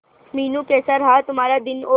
मीनू कैसा रहा तुम्हारा दिन और